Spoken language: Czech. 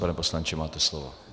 Pane poslanče, máte slovo.